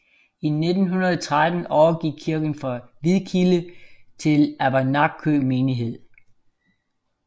I 1913 overgik kirken fra Hvidkilde til Avernakø menighed